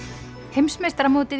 heimsmeistaramótið